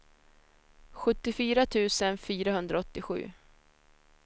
sjuttiofyra tusen fyrahundraåttiosju